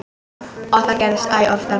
Og það gerðist æ oftar.